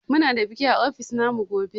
Muna da biki a ofis na mu gobe.